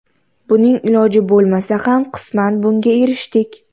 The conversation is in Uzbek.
Buning iloji bo‘lmasa ham qisman bunga erishdik.